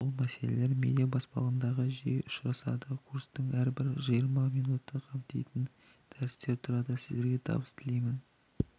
бұл мәселелер медиа баспалдағында жиі ұшырасады курстың әрбірі жиырма минутты қамтитын дәрістен тұрады сіздерге табыс тілеймін